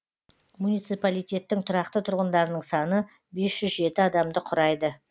муниципалитеттің тұрақты тұрғындарының саны бес жүз жеті адамды құрайды